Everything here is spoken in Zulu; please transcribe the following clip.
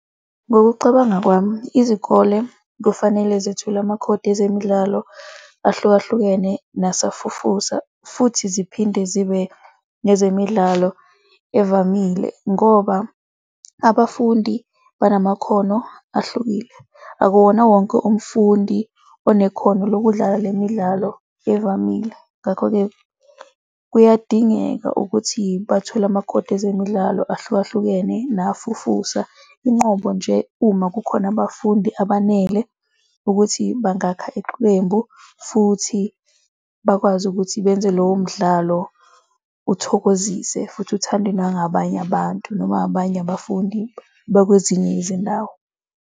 Ngokucabanga kwami, izikole kufanele zithule amakhodi ezemidlalo ahlukahlukene nasafufusa futhi ziphinde zibe nezemidlalo evamile ngoba abafundi banamakhono ahlukile. Akuwona wonke umfundi unekhono lokudlala le midlalo evamile. Ngakho-ke kuyadingeka ukuthi bathole amakhodi ezemidlalo ahlukahlukene nafufusa, inqobo nje uma kukhona abafundi abanele ukuthi bangakha iqembu futhi bakwazi ukuthi benze lowo mdlalo, uthokozise futhi uthandwe nangabanye abantu noma abanye abafundi bakwezinye izindawo.